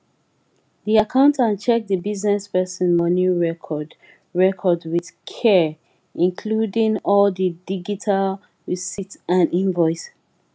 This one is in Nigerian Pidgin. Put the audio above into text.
di accountant check di business person money record record with caree include all di digital receipt and invoice